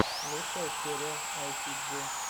лучшая серия айсиджи